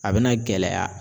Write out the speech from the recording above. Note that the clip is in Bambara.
A bina gɛlɛya